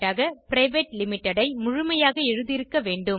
private limited ஐ முழுமையாக எழுதியிருக்க வேண்டும்